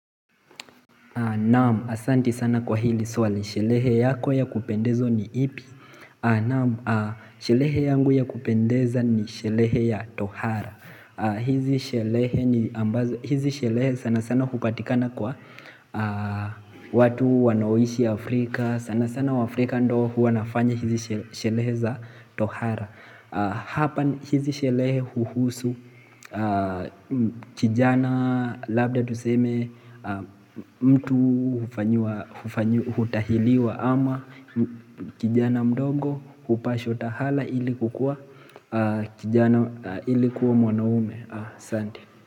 Na'am, asante sana kwa hili swali, sherehe yako ya kupendezwa ni ipi? Na'am, sherehe yangu ya kupendeza ni sherehe ya Tohara. Hizi sherehe sana sana hupatikana kwa watu wanaoishi Afrika. Sana sana waafrika ndio huwa nafanya hizi sherehe za tohara. Hapa hizi sherehe huhusu kijana labda tuseme mtu hutahiriwa ama kijana mdogo hupashwa tohara ili kukuwa kijana, ili kuwa mwanaume. Asante.